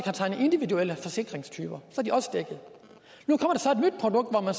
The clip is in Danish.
tegnet individuelle forsikringer nu kommer der